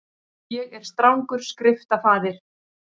Ég er strangur skriftafaðir.